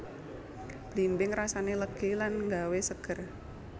Blimbing rasané legi lan nggawé seger